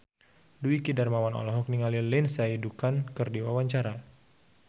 Dwiki Darmawan olohok ningali Lindsay Ducan keur diwawancara